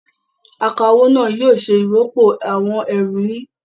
Akawó náà yóò ṣe ìròpọ̀ àwọn ẹrù yín.